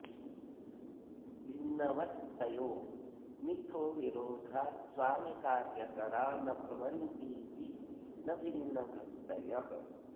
भिन्नवत्तयो मिथो विरोधात् स्वामिकार्यकरा न भवन्तीति न भिन्नवृत्तयः